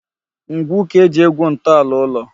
Ngwu ka e ji egwu ntọala ụlọ.